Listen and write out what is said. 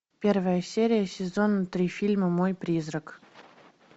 первая серия сезон три фильма мой призрак